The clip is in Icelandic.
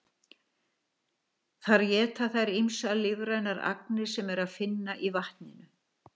Þar éta þær ýmsar lífrænar agnir sem er að finna í vatninu.